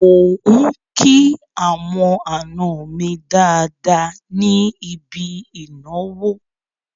Mò ń kí àwọn àna mi dáadáa ní ibi ìnáwó.